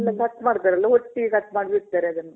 ಎಲ್ಲ ಕಟ್ ಮಾಡ್ತಾರಲ್ಲ ? ಒತ್ತಿ ಕಟ್ ಮಾಡ್ ಬಿಡ್ತಾರ್ ಅದನ್ನ.